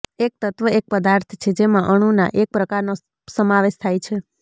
એક તત્વ એક પદાર્થ છે જેમાં અણુના એક પ્રકારનો સમાવેશ થાય છે